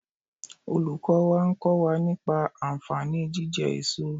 Olùkọ́ wa ń kọ́ wa nípa ànfàní jíjẹ èso